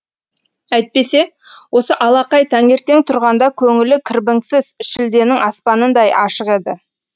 әйтпесе осы алақай таңертең тұрғанда көңілі кірбіңсіз шілденің аспанындай ашық еді